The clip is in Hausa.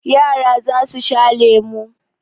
Yara za su sha lemu.